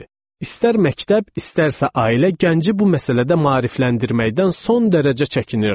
İstər məktəb, istərsə ailə gənci bu məsələdə maarifləndirməkdən son dərəcə çəkinirdi.